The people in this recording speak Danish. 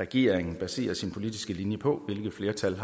regeringen baserer sin politiske linje på hvilket flertal